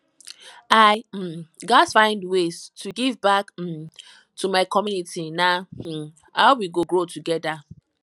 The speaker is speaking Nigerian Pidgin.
i um gats find ways to give back um to my community na um how we go grow together